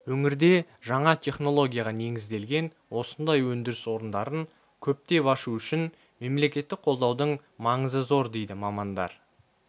өңірде жаңа технологияға негізделген осындай өндіріс орындарын көптеп ашу үшін мемлекеттік қолдаудың маңызы зор дейді мамандар